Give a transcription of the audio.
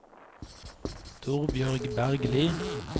Torbjørg Bergli